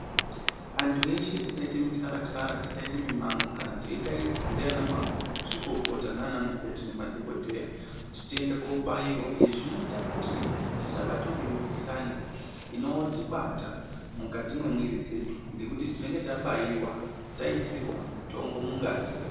Antu eshe tisaite mityaratyara tisaite mimango kana teidaidzwa ndiana mazvikokota nanamukoti nemadhokodheya kuti tiende kobaiwa izvi zvinoita kuti tisabatwe ngemikhuhlani inotibata mukati mwemwiri dzedu ngekuti tinonga tabaiwa taisirwa mutombo mungazi.